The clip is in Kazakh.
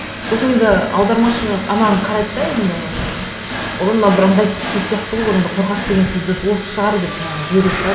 сосын енді аудармашы ананы қарайды да енді ыыы ойбай мынау бір ыңғайсыз сөз сияқты ғой одан да қорқақ деген сөз дұрыс осы шығар деп жаңағы жібере салады